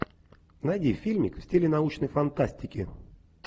найди фильмик в стиле научной фантастики